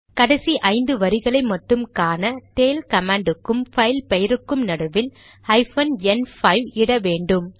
கடைசி ஐந்து வரிகளை மட்டும் காண டெய்ல் கமாண்ட் க்கும் பைல் பெயருக்கும் நடுவில் ஹைபன் என் 5 இட வேண்டும்